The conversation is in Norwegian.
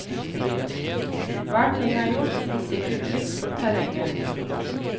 Hver ting er gjort med sikkert blikk for terrenget.